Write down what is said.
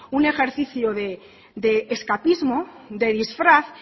un ejercicio de escapismo de disfraz